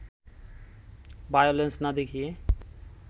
violence না দেখিয়ে